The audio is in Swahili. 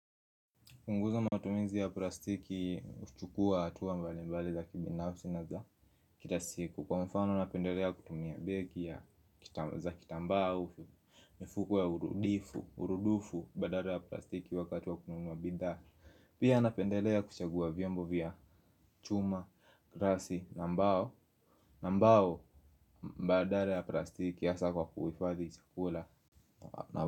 Kupunguza matumizi ya plastiki huchukua hatua mbali mbali za kibinafsi na za kila siku. Kwa mfano napendelea kutumia begi ya za kitambaa au mifuko ya urudifu, urudufu, badala ya plastiki wakati wa kununua bidhaa. Pia napendelea kuchagua vyombo vya chuma, glassi, na mbao. Na mbao, badala ya plastiki hasa kwa kuhifadhi chakula.